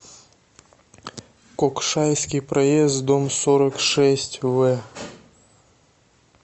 кокшайский проезд дом сорок шесть в